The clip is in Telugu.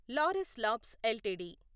Laurus labs LTD